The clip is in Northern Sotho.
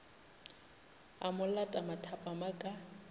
a mo lata mathapama ka